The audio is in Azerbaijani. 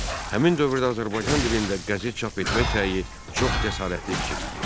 Həmin dövrdə Azərbaycan dilində qəzet çap etmək səyi çox cəsarətli fikir idi.